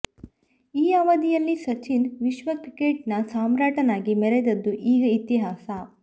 ಈ ಅವಧಿಯಲ್ಲಿ ಸಚಿನ್ ವಿಶ್ವ ಕ್ರಿಕೆಟ್ನ ಸಾಮ್ರಾಟನಾಗಿ ಮೆರೆದದ್ದು ಈಗ ಇತಿಹಾಸ